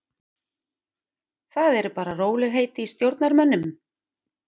Það eru bara rólegheit í stjórnarmönnum.